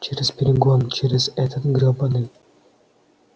через перегон через этот грёбаный